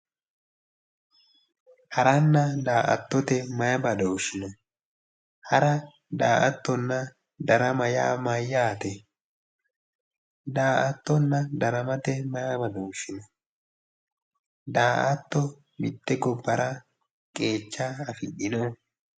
Harranna daa"attote mayee badooshshi no? Hara daa"attonna dara yaa mayyaate? Daa"attonna daramate maye badooshshi no? Daa"atto mitte gobbara qeecha afidhino?